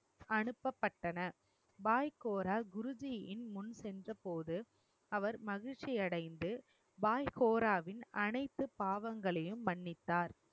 அனுப்பப்பட்டன பாய்கோரா குருஜியின் முன் சென்ற போது அவர் மகிழ்ச்சியடைந்து பாய் கோராவின் அனைத்து பாவங்களையும் மன்னித்தார்